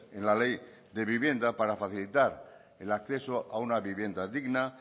en la ley de vivienda para facilitar el acceso a una vivienda digna